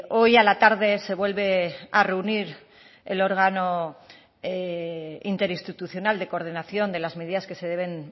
hoy a la tarde se vuelve a reunir el órgano interinstitucional de coordinación de las medidas que se deben